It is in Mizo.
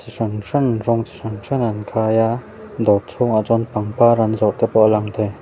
hran hran rawng chi hran hran an khai a dawr chhungah ah chuan pangpar an zawrh te pawh a lang thei.